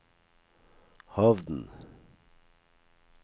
Hovden